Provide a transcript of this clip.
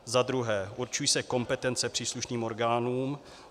za druhé - určují se kompetence příslušným orgánům;